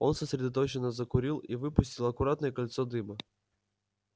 он сосредоточенно закурил и выпустил аккуратное кольцо дыма